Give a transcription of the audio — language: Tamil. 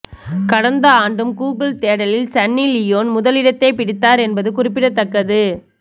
கடந்த ஆண்டும் கூகுள் தேடலில் சன்னி லியோன் முதலிடத்தை பிடித்தார் என்பது குறிப்பிடத்தக்கது